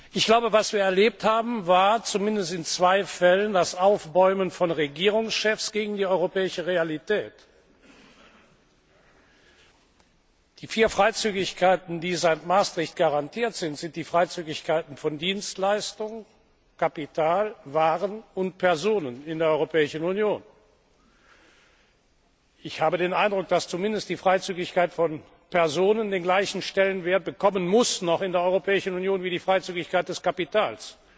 Ich glaube, was wir erlebt haben, war zumindest in zwei Fällen das Aufbäumen von Regierungschefs gegen die europäische Realität. Die vier Freizügigkeiten, die seit Maastricht garantiert sind, sind die Freizügigkeiten von Dienstleistungen, Kapital, Waren und Personen in der Europäischen Union. Ich habe den Eindruck, dass zumindest die Freizügigkeit von Personen den gleichen Stellenwert bekommen muss in der Europäischen Union, wie die Freizügigkeit des Kapitals.